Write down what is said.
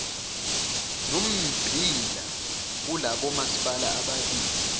nommbila kulabomasipala ababili